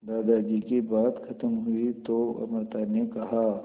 दादाजी की बात खत्म हुई तो अमृता ने कहा